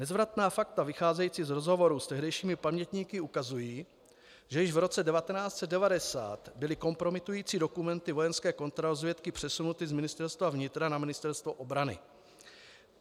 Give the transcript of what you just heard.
Nezvratná fakta vycházející z rozhovorů s tehdejšími pamětníky ukazují, že již v roce 1990 byly kompromitující dokumenty vojenské kontrarozvědky přesunuty z Ministerstva vnitra na Ministerstvo obrany.